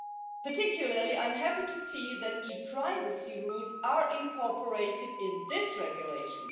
In particular, I am happy to see that e privacy rules are incorporated in this regulation.